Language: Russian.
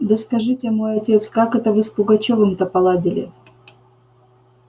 да скажите мой отец как это вы с пугачёвым-то поладили